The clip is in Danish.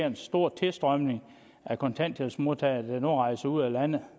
en stor strøm af kontanthjælpsmodtagere der rejser ud af landet